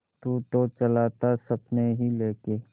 तू तो चला था सपने ही लेके